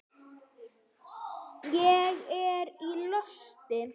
Ég er í losti.